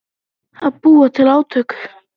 Að búa til átök